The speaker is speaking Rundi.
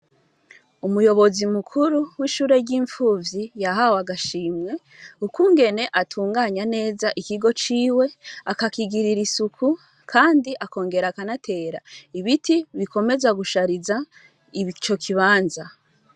Umuyobozi mukuru w'ishure ry'imfuvyi yahawe agashimwe, ukungene atunganya neza ikigo ciwe akakigirira isuku, kandi akongera akanatera ibiti bikomeza gushariza ico kibanza